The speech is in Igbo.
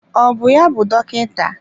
Ọ bụ ya bụ dọkịta?